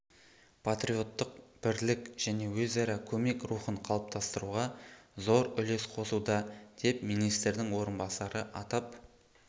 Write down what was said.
патриоттық бірлік және өзара көмек рухын қалыптастыруға зор үлес қосуда деп министрдің орынбасары атап